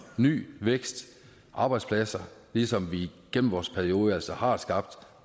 ny vækst og arbejdspladser ligesom vi gennem vores periode altså har skabt